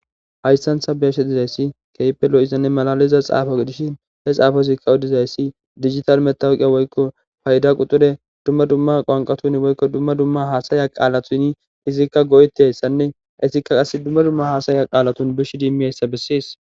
hayssantha beshe dizayssi keype lo7izanne malaliza xaafo dishin he xaafo izikka udizayssi digital metawuqiya woykko fayda quxure dumma dumma qwanqatuni woykko dumma dumma haasaya qaalatuni izikka go7eti hayssanne isikka qas dumma dumma haasaya qaalatun bish dimmiyayssa bessiis